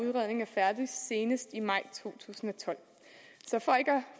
færdig senest i maj to tusind